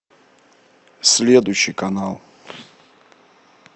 следующий канал